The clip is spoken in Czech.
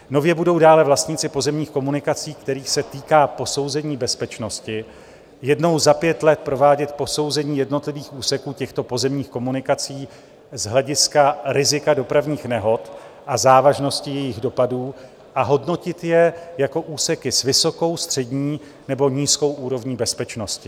Nově budou dále vlastníci pozemních komunikací, kterých se týká posouzení bezpečnosti, jednou za pět let provádět posouzení jednotlivých úseků těchto pozemních komunikací z hlediska rizika dopravních nehod a závažnosti jejich dopadu a hodnotit je jako úseky s vysokou, střední nebo nízkou úrovní bezpečnosti.